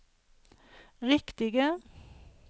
riktige